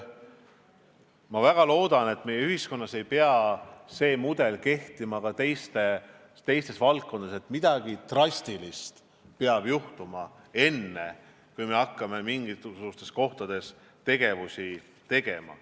Ma väga loodan, et meie ühiskonnas ei kehti see mudel teisteski valdkondades, et midagi drastilist peab juhtuma, enne kui me hakkame midagi ette võtma.